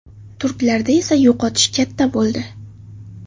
Turklarda esa yo‘qotish katta bo‘ldi.